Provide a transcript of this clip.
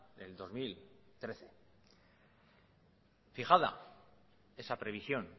el dos mil trece fijada esa previsión